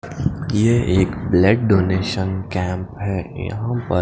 ये एक blood donation camp हे यहाँ पर--